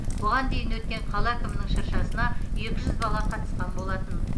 бұған дейін өткен қала әкімінің шыршасына екі жүз бала қатысқан болатын